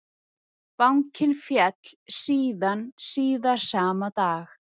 Bankinn féll síðan síðar sama dag